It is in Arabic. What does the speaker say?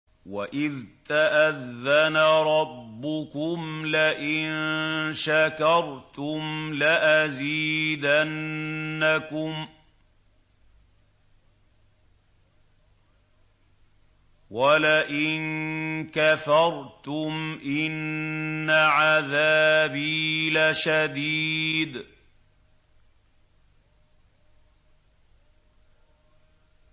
وَإِذْ تَأَذَّنَ رَبُّكُمْ لَئِن شَكَرْتُمْ لَأَزِيدَنَّكُمْ ۖ وَلَئِن كَفَرْتُمْ إِنَّ عَذَابِي لَشَدِيدٌ